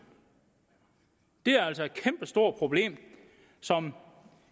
det er altså et kæmpestort problem som